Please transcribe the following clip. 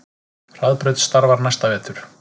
Hraðbraut starfar næsta vetur